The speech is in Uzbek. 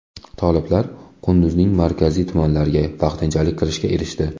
Toliblar Qunduzning markaziy tumanlariga vaqtinchalik kirishga erishdi.